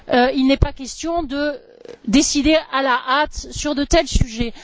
Il n'est pas question de décider à la hâte sur de tels sujets.